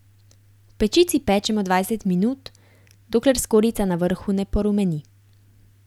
V pečici pečemo dvajset minut, dokler skorjica na vrhu ne porumeni.